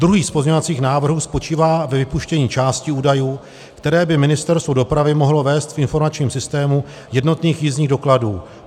Druhý z pozměňovacích návrhů spočívá ve vypuštění části údajů, které by Ministerstvo dopravy mohlo vést v informačním systému jednotných jízdních dokladů.